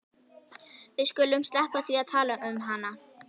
Við skulum sleppa því að tala um hana.